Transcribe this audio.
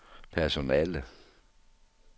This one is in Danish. personale